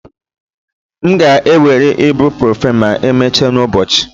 M ga-ewere ibuprofen ma emechaa n'ụbọchị